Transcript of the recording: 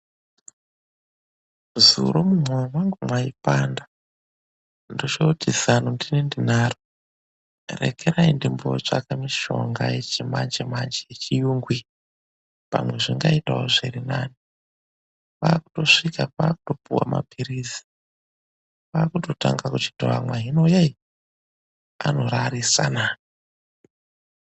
Zuro mumwoyo mwangu mwaipanda, ndochoti zano ndini ndinaro, rekerai ndimbootsvaka mishonga yechimanjemanje yechiyungu iyi, pamwe zvingaitawo zviri nane. Kwaakutosvika kwaakutopuwa mapirizi kwachitotanga kuchiiamwa, hino yei anorarisana.